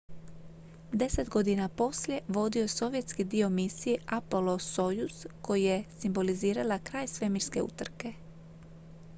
deset godina poslije vodio je sovjetski dio misije apollo-soyuz koja je simbolizirala kraj svemirske utrke